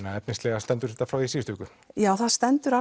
að efnislega stendur þetta frá því í síðustu viku já það stendur